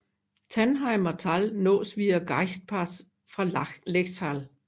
Tannheimer Tal nås via Gaichtpass fra Lechtal